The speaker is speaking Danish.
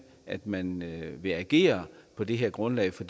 at man vil agere på det her grundlag for